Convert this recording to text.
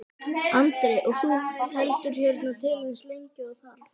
Andri: Og þú heldur hérna til eins lengi og þarf?